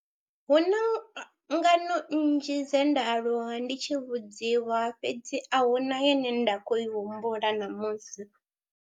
Hu na ngano nnzhi dze nda aluwa ndi tshi vhudziwa fhedzi a hu na ine nda khou i humbula ṋamusi.